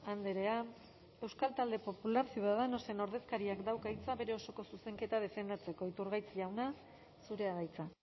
andrea euskal talde popular ciudadanosen ordezkariak dauka hitza bere osoko zuzenketa defendatzeko iturgaiz jauna zurea da hitza